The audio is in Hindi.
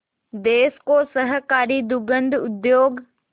देश को सहकारी दुग्ध उद्योग